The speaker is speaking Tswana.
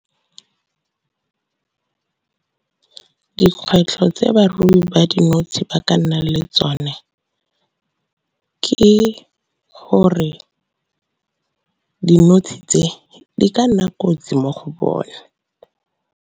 Ke dikgwetlho tse barui ba dinotshe ba ka nna le tsone ke gore dinotshe tse, di ka nna kotsi mo go bona.